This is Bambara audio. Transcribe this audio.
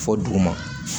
Fɔ duguma